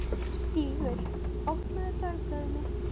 Stígur, opnaðu dagatalið mitt.